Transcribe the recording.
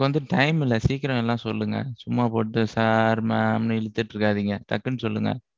எனக்கு வந்து time இல்லை, சீக்கிரம் எல்லாம் சொல்லுங்க. சும்மா போட்டுட்டு, sir mam ன்னு இழுத்துட்டு இருக்காதீங்க. டக்குன்னு சொல்லுங்க.